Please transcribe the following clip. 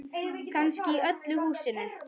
Kannski í öllu húsinu.